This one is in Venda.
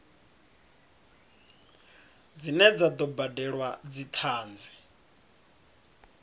dzine dza do badelwa dzithanzi